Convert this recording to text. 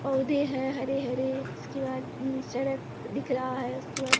पौधे हैं हरे हरे उसके बाद सड़क दिख रहा है उसके बाद --